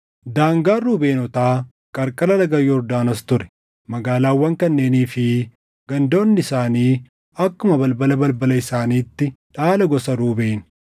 Daangaan Ruubeenotaa qarqara laga Yordaanos ture. Magaalaawwan kanneenii fi gandoonni isaanii akkuma balbala balbala isaaniitti dhaala gosa Ruubeen.